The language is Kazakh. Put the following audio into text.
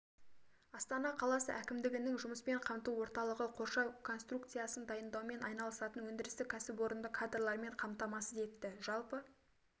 астана қаласы әкімдігінің жұмыспен қамту орталығы қоршау конструкциясын дайындаумен айналысатын өндірістік кәсіпорынды кадрлармен қамтамасыз етті жалпы